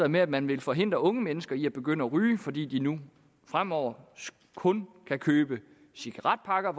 med at man vil forhindre unge mennesker i at begynde at ryge fordi de nu fremover kun kan købe cigaretpakker